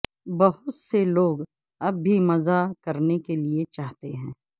بہت سے لوگ اب بھی مزہ کرنے کے لئے چاہتے ہیں